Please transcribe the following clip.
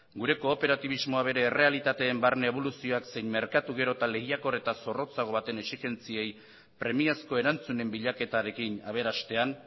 gure kooperatibismoa bere errealitateen barne eboluzioak zein merkatu gero eta lehiakor eta zorrotzago baten exigentziei premiazko erantzunen bilaketarekin aberastean